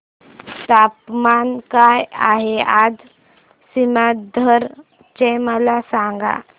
तापमान काय आहे आज सीमांध्र चे मला सांगा